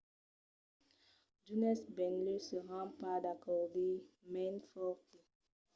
d'unes benlèu seràn pas d'acòrdi mas me'n foti